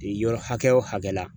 Yɔrɔ hakɛ o hakɛ la